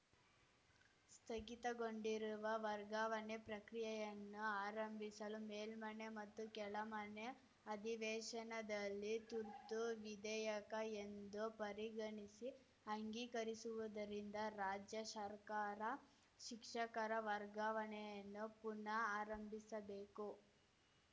ಸ್ಥಗಿತಗೊಂಡಿರುವ ವರ್ಗಾವಣೆ ಪ್ರಕ್ರಿಯೆಯನ್ನು ಆರಂಭಿಸಲು ಮೇಲ್ಮನೆ ಮತ್ತು ಕೆಳಮನೆ ಅಧಿವೇಶನದಲ್ಲಿ ತುರ್ತು ವಿಧೇಯಕ ಎಂದು ಪರಿಗಣಿಸಿ ಅಂಗೀಕರಿಸಿರುವುದರಿಂದ ರಾಜ್ಯ ಶರ್ಕಾರ ಶಿಕ್ಷಕರ ವರ್ಗಾವಣೆಯನ್ನು ಪುನಃ ಆರಂಭಿಸಬೇಕು